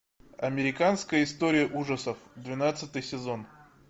американская история ужасов двенадцатый сезон